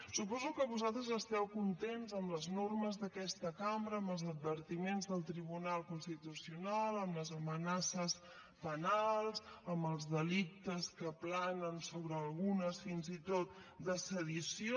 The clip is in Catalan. suposo que vosaltres esteu contents amb les normes d’aquesta cambra amb els advertiments del tribunal constitucional amb les amenaces penals amb els delictes que planen sobre algunes fins i tot de sedició